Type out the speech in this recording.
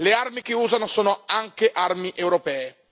Le armi che usano sono anche armi europee.